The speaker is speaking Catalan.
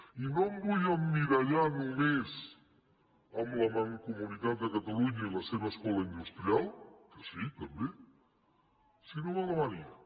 i no em vull emmirallar només en la mancomunitat de catalunya i la seva escola industrial que sí també sinó en alemanya